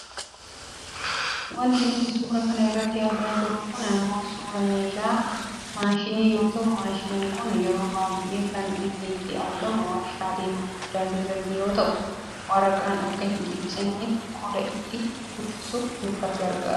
Wanti nuti suura kana irratti argaa jirru kun ammoo suuraa meeshaa maashinii yoo ta'u maashiniin kun yeroo baayyee kan inni itti argamu waajiraalee gurguddaa keesatti yoo ta'u waraqaan akka hin ciccinneef qola itti uffisuuf nu gargaara.